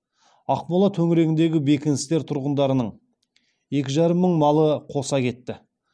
ақмола төңірегіндегі бекіністер тұрғындарының екі жарым мың малы қоса кетті